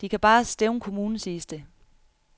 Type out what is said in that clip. De kan bare stævne kommunen, siges det.